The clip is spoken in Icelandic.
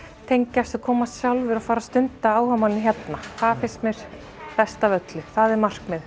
tengjast og koma sjálfir og stunda áhugamálin hérna það finnst mér best af öllu það er markmiðið